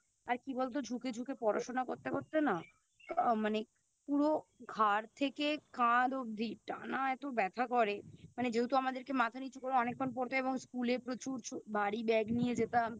আর কি বলতো ঝুকে ঝুকে পড়াশুনো করতে করতে না আ মানে পুরো ঘাড় থেকে কাঁধ অবধি টানা এতো ব্যাথা করে মানে যেহেতু আমাদেরকে মাথা নিচু করে অনেকক্ষণ পড়তে হয় এবং School এ প্রচুর ভারী Bag নিয়ে যেতাম